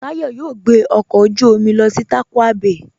Táyọ̀ yóò gbẹ ọkọ ojú omi lọ sí Tàkwa Bày